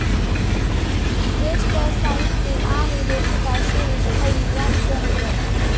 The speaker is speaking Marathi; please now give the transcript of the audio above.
ज्येष्ठ साहित्यिक आणि लेखिका शिरीष पै यांचं निधन